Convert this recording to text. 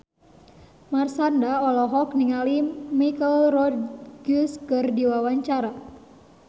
Marshanda olohok ningali Michelle Rodriguez keur diwawancara